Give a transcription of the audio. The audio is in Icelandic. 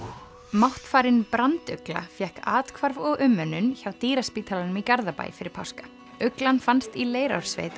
máttfarin fékk athvarf og umönnun hjá dýraspítalanum í Garðabæ fyrir páska fannst í Leirársveit